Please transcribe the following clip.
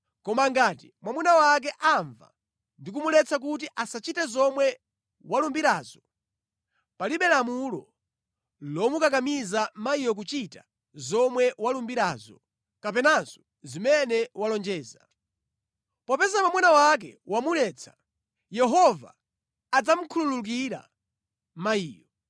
Koma ngati mwamuna wake amva ndi kumuletsa kuti asachite zomwe walumbirazo, palibe lamulo lomukakamiza mayiyo kuchita zomwe walumbirazo kapenanso zimene walonjeza. Popeza mwamuna wake wamuletsa, Yehova adzamukhululukira mayiyo.